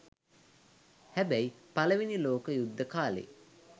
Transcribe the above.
හැබැයි පළවෙනි ලෝක යුද්ධ කාලේ